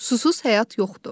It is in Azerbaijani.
Susuz həyat yoxdur.